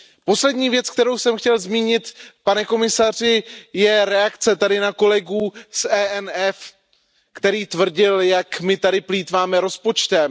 Poslední věc, kterou jsem chtěl zmínit, pane komisaři, je reakce tady na kolegu z ENF, který tvrdil, jak my tady plýtváme rozpočtem.